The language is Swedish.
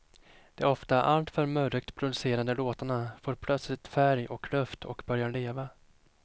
De ofta alltför murrigt producerade låtarna får plötsligt färg och luft och börjar leva.